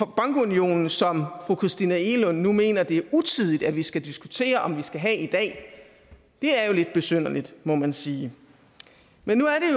bankunionen som fru christina egelund nu mener det er utidigt at vi skal diskutere om vi skal have i dag det er jo lidt besynderligt må man sige men nu er